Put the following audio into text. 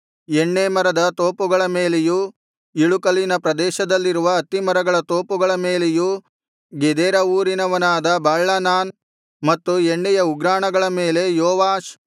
ಎಣ್ಣೇ ಮರದ ತೋಪುಗಳನ್ನೂ ಇಳುಕಲಿನ ಪ್ರದೇಶದಲ್ಲಿರುವ ಅತ್ತಿಮರಗಳ ತೋಪುಗಳನ್ನು ಗೆದೇರಾ ಊರಿನವನಾದ ಬಾಳ್ಹಾನಾನ್ ಮತ್ತು ಎಣ್ಣೆಯ ಉಗ್ರಾಣಗಳನ್ನು ನೋಡಿಕೊಳ್ಳಲು ಯೋವಾಷ್ ಇದ್ದನು